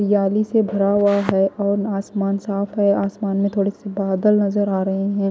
जाली से भरा हुआ है और आसमान साफ है आसमान में थोड़ी सी बादल नजर आ रहे हैं।